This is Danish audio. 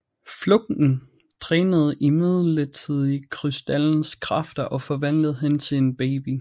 Flugten drænede imidlertid krystallens kræfter og forvandlede hende til en baby